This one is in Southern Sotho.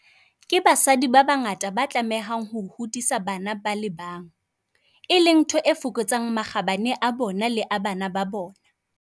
Ke basadi ba bangata ba tlamehang ho hodisa bana ba le bang, e leng ntho e fokotsang makgabane a bona le a bana ba bona.